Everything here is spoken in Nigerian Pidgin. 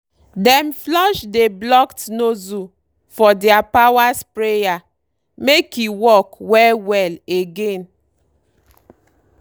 dem flush dey blocked nozzle for deir power sprayer make e work well well again.